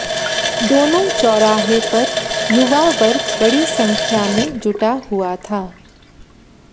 दोनों चौराहे पर युवा वर्ग बड़ी संख्या में जुटा हुआ था